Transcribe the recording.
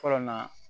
Fɔlɔ na